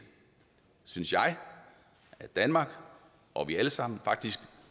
synes jeg at danmark og vi alle sammen